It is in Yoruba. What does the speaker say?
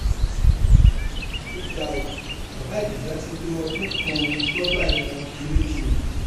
ó ga ọ bàbá ìjẹsà ti lo ọdún kan lọgbà ẹwọn kirikiri